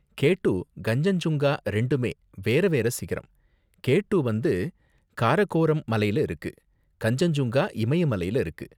K two Kanchenjunga ரெண்டுமே வேறவேற சிகரம், கே டூ வந்து காரகோரம் மலைல இருக்கு, கன்சென்ஜுங்கா இமய மலைல இருக்கு.